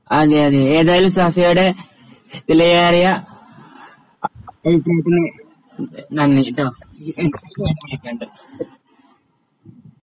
അതെ അതെ ഏതായാലും സഫിയാടെ വിലയേറിയ അഭിപ്രായത്തിനു നന്ദി ട്ടോ,